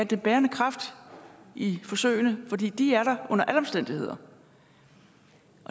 den bærende kraft i forsøgene fordi de er der under alle omstændigheder